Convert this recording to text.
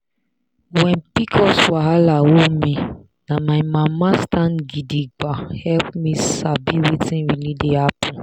when pcos wahala hold me na my mama stand gidigba help me sabi wetin really dey happen.